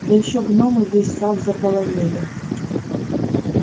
да ещё гномы весь сад заполонили